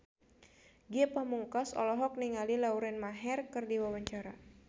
Ge Pamungkas olohok ningali Lauren Maher keur diwawancara